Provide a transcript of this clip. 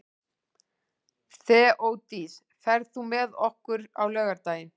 Þeódís, ferð þú með okkur á laugardaginn?